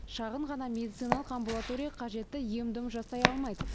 шағын ғана медициналық амбулатория қажетті ем дом жасай алмайды